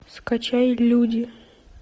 скачай люди